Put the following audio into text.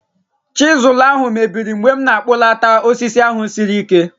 Chizụl ahụ mebiri mgbe m na-akpụlata osisi ahụ siri ike